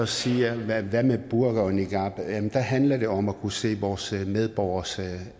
siger hvad med burka og niqab men der handler det om at kunne se vores medborgers